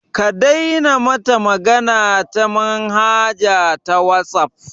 Ka daina mata magana ta manhaja ta wasaf